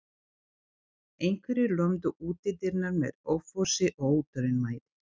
Einhverjir lömdu útidyrnar með offorsi og óþolinmæði.